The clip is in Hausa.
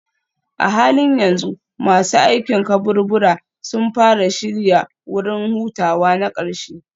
A halin yanzu masu aikin kaburbura sun fara shirya wurin hutawa na ƙarshe.